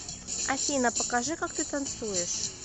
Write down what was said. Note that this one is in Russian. афина покажи как ты танцуешь